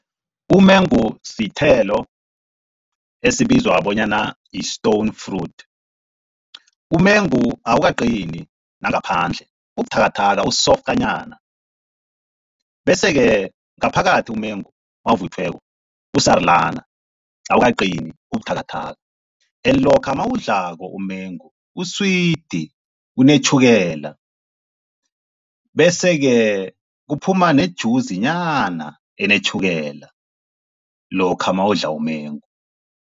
Umengo sithelo esibizwa bonyana yi-stone fruit, umengu awukaqini nangaphandle ubuthakathaka usoftanyana, bese-ke ngaphakathi umengu nawuvuthiweko usarulana, awukaqini ubuthakathaka. And lokha nawuwudlako umengu uswidi unetjhukela, bese-ke kuphuma nejuzinyana enetjhukela lokha nawudla umengu.